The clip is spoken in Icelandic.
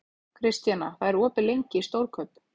Kristjana, hvað er opið lengi í Stórkaup?